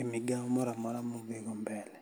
e migao mora mora mudhigo mbele.